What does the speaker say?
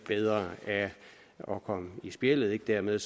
bedre af at komme i spjældet dermed